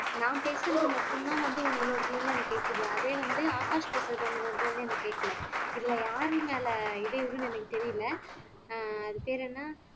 நான் பேசுறது மட்டும்தான் வந்து உங்களோடதுலே இருந்து எனக்கு கேக்குது அதே வந்து ஆகாஷ் பேசறது உங்களோடதான்னு எனக்கு கேட்கலை இதுல யாரு மேலே இடையூறுன்னு எனக்கு தெரியலை ஆஹ் அது பேரு என்ன